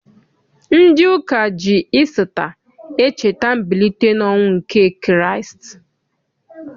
Ndị ụka ji Isita echeta mbilite n'ọnwụ nke Kraịst.